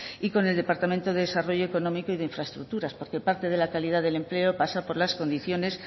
y con el departamento de desarrollo económico y de infraestructuras porque parte de la calidad del empleo pasó por las condiciones